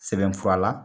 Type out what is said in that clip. Sɛbɛnfura la